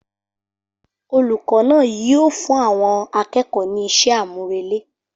Olùkọ́ náà yíò fún àwọn akẹ́kọ̀ọ́ ní iṣẹ́ àmúrelé